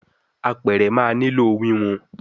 Àpẹrẹ má ní ló wiwun